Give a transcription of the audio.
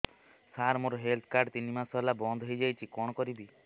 ସାର ମୋର health card ତିନି ମାସ ହେଲା ବନ୍ଦ ହେଇଯାଇଛି କଣ କରିବି